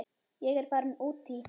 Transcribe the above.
Ég er farin út í.